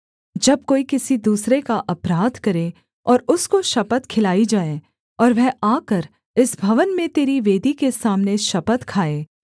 जब कोई किसी दूसरे का अपराध करे और उसको शपथ खिलाई जाए और वह आकर इस भवन में तेरी वेदी के सामने शपथ खाए